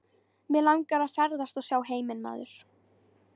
Mig langar að ferðast og sjá heiminn maður.